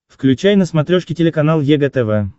включай на смотрешке телеканал егэ тв